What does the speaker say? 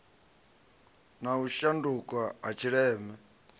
na u shanduka ha tshileme